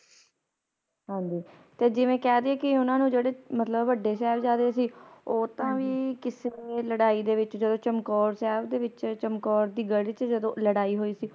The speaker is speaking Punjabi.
ਹਾਂਜੀ ਤੇ ਜਿਵੇ ਕਹਿ ਦੇਈਏ ਕਿ ਓਹਨਾ ਨੂੰ ਜਿਹੜੇ ਮਤਲਬ ਵੱਡੇ ਸਾਹਿਬਜਾਦੇ ਸੀਂ ਉਹ ਤਾ ਵੀ ਕਿਸੇ ਲੜਾਈ ਦੇ ਵਿੱਚ ਜਦੋ ਚਮਕੌਰ ਸਾਹਿਬ ਦੇ ਵਿੱਚ ਚਮਕੌਰ ਦੀ ਗੜ੍ਹ ਵਿੱਚ ਜਦੋ ਲੜਾਈ ਹੋਈ ਸੀਂ